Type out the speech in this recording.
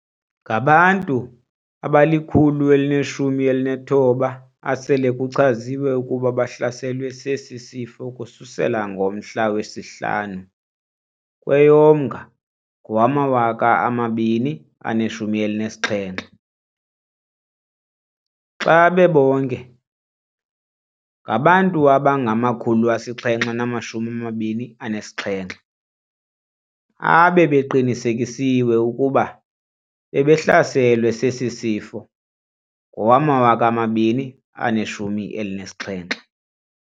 Ngabantu abali-119 asele kuchazwe ukuba bahlaselwe sesi sifo ukususela ngomhla wesi-5 kweyoMnga ngowama-2017. Xa bebonke, ngabantu abangama-727 abebeqinisekisiwe ukuba bebehlaselwe sesi sifo ngowama-2017.